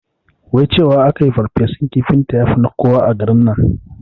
Wai cewa akayi ferfesun kifinta yafi na koya a garin nan